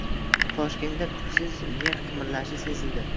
Toshkentda kuchsiz yer qimirlashi sezildi.